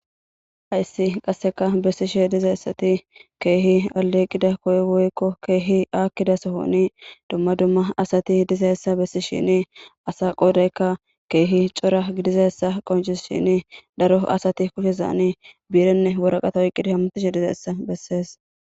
hayssi qasseka bessishe dizayissati keehi aleeqida koy woykko keehi aakkida sohoni dumma dumma asati dizayissa bessishini asa qoodaykka keehi cora gidizayissa qoncisishini daro asati kushezaani biirenne woraqata oyqqidi hamtishe dizayissa bessees